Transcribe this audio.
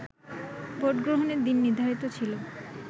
ভোটগ্রহণের দিন নির্ধারিত ছিল